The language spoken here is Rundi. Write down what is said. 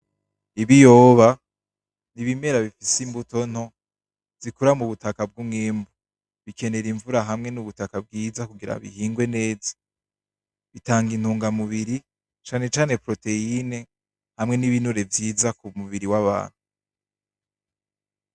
Ibiyoba, nibimera bifise imbuto nto zikura mubutaka bw'umwimbu. Bikenera imvura hamwe nubutaka bwiza kugira bihingwe neza. Bitanga intunga mubiri cane cane proteyine hamwe nibinure vyiza kumubiri wabantu.